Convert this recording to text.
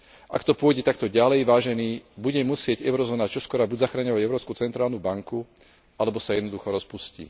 Ak to pôjde takto ďalej, vážení, bude musieť Eurozóna čoskoro buď zachraňovať Európsku centrálnu banku alebo sa jednoducho rozpustí.